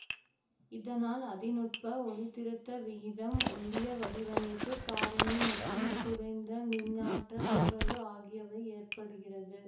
இதனால் அதி நுட்ப ஒளிதிருத்த விகிதம் ஒள்ளிய வடிவமைப்பு காரணி மற்றும் குறைந்த மின்னாற்றல் நுகர்வு ஆகியவை ஏற்ப்படுகிறது